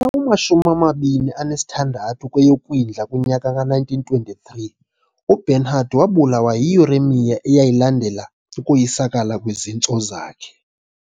wama-26 kweyoKwindla 1923, uBernhardt wabulawa yiuremia eyayilandela ukoyisakala kwezintso zakhe.